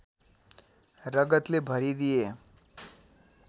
रगतले भरिदिए